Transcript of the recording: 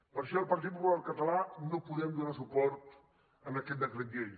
per això el partit popular català no podem donar suport a aquest decret llei